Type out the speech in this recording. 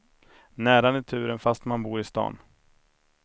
Nära naturen fast man bor i stan.